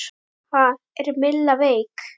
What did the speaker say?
Ha, er Milla veik?